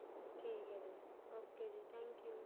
ਠੀਕ ਏ ਜੀ ok ਜੀ thank you